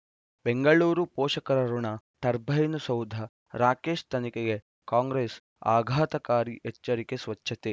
ಬೆಂಗಳೂರು ಪೋಷಕರಋಣ ಟರ್ಬೈನು ಸೌಧ ರಾಕೇಶ್ ತನಿಖೆಗೆ ಕಾಂಗ್ರೆಸ್ ಆಘಾತಕಾರಿ ಎಚ್ಚರಿಕೆ ಸ್ವಚ್ಛತೆ